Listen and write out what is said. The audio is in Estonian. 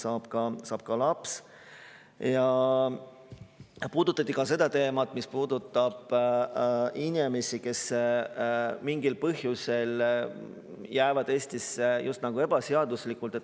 Ja ka seda teemat, mis puudutab inimesi, kes mingil põhjusel jäävad Eestisse just nagu ebaseaduslikult.